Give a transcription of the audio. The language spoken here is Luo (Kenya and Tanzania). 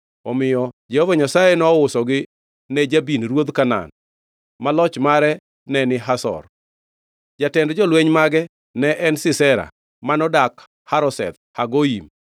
Omiyo Jehova Nyasaye nousogi ne Jabin, ruodh Kanaan, ma loch mare neni Hazor. Jatend jolweny mage ne en Sisera, manodak Harosheth Hagoyim.